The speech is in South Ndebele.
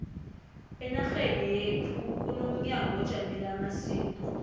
enarheni yekhu kunomnyango ojamele amasiko